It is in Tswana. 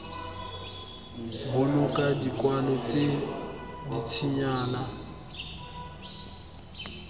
boloka dikwalo tse dintsinyana jljl